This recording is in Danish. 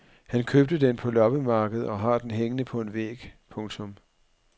Han købte den på et loppemarked og har den hængende på en væg. punktum